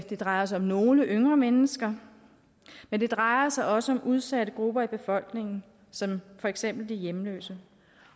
det drejer sig om nogle yngre mennesker men det drejer sig også om udsatte grupper i befolkningen som for eksempel de hjemløse